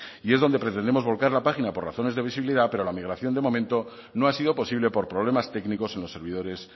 y es donde pretendemos volcar la página por razones de visibilidad pero la migración de momento no ha sido posible por problemas técnicos en los servidores